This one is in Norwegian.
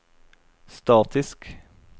statisk